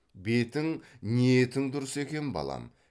бетің ниетің дұрыс екен балам